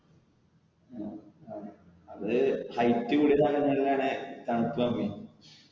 അത് height കൂടിയ സ്ഥലങ്ങളിൽ ആണ് തണുപ്പ്